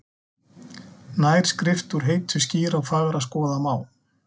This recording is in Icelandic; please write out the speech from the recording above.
Nær skrift úr heitu skýra og fagra skoða má,